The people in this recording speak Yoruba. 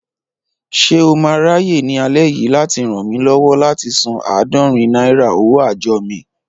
Ṣé o máa ráyè ní alẹ́ yìí láti ràn mí lọ́wọ́ láti san àádorin náírà owó àjọ mi?